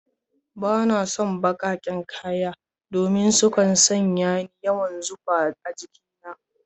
Bana son bakaken kaya, domin sukan sa ni yawan zufa a jikina.